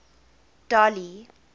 dolly